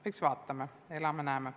Aga vaatame, elame-näeme.